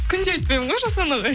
күнде айтпаймын ғой жасұлан ағай